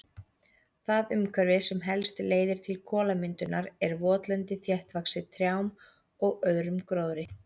Það umhverfi sem helst leiðir til kolamyndunar er votlendi þéttvaxið trjám og öðrum gróðri.